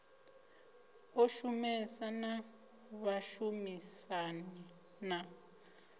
ḓo shumesa na vhashumisani na